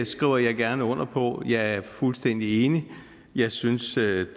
skriver jeg gerne under på jeg er fuldstændig enig jeg synes det